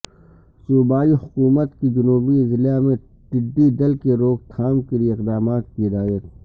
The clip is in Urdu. صوبائی حکومت کی جنوبی اضلاع میں ٹڈی دل کی روک تھام کیلئے اقدامات کی ہدایت